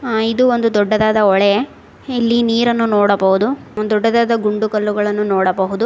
ಅ ಇದು ಒಂದು ದೊಡ್ಡದಾದ ಹೊಳೆ ಇಲ್ಲಿ ನೀರನ್ನು ನೋಡಬಹುದು ಒಂದು ದೊಡ್ಡದಾದ ಗುಂಡುಕಲ್ಲುಗಳನ್ನು ನೋಡಬಹುದು.